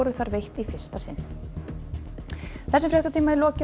veitt í fyrsta sinn þessum fréttatíma er lokið